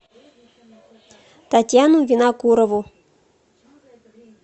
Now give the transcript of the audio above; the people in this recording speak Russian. татьяну винокурову